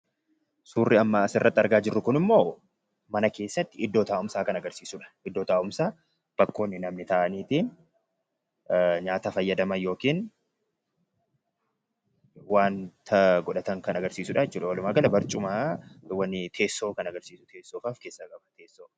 Suurri amma asirratti argaa jirru kun immoo mana keessatti iddoo taa'umsaa kan agarsiisudha. Iddoo taa'umsaa bakkoonni namni taa'anii fi nyaata fayyadaman yookiin waanta godhatan kan agarsiisudha jechuudha. Walumaagala, barcumawwaniiti, teessoowwan kan agarsiisudha, teessoo.